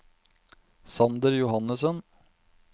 Sander Johannessen